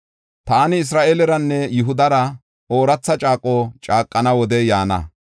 “Taani Isra7eeleranne Yihudara ooratha caaqo caaqana wodey yaana.